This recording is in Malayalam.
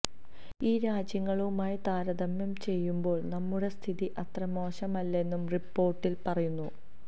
ഈ രാജ്യങ്ങളുമായി താരതമ്യം ചെയ്യുമ്പോള് നമ്മുടെ സ്ഥിതി അത്ര മോശമല്ലെന്നും റിപ്പോര്ട്ടില് പറയുന്നു